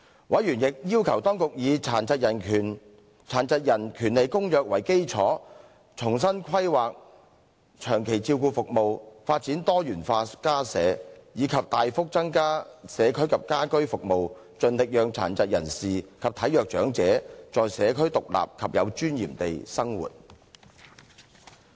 委員亦要求當局以《殘疾人權利公約》為基礎，重新規劃長期照顧服務，發展多元化家舍，以及大幅增加社區及家居服務，盡力讓殘疾人士及體弱長者在社區獨立及有尊嚴地生活。